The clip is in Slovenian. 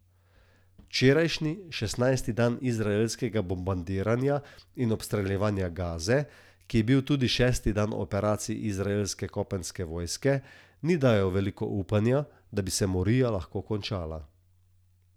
Včerajšnji, šestnajsti dan izraelskega bombardiranja in obstreljevanja Gaze, ki je bil tudi šesti dan operacij izraelske kopenske vojske, ni dajal veliko upanja, da bi se morija lahko končala.